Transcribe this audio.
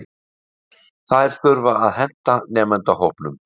Þær þurfa að henta nemendahópnum.